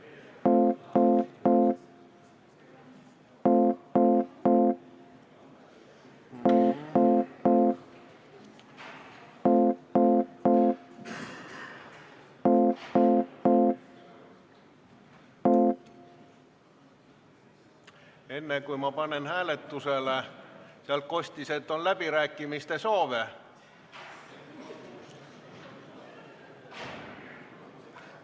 Enne kui ma panen eelnõu hääletusele, kostis nagu, et on läbirääkimise soove.